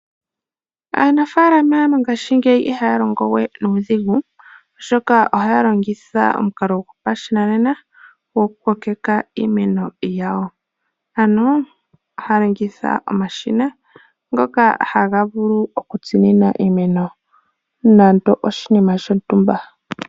Aanafaalama mongashingeyi ihaya longowe nuudhigu, oshoka ohaya longitha omukalo gopashinanena gokukokeka iimeno yawo. Ohaya longitha omashina ngoka haga vulu okutsinina iimeno nando oshinima shontumba.